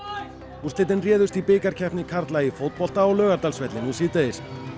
úrslitin réðust í bikarkeppni karla í fótbolta á Laugardalsvelli nú síðdegis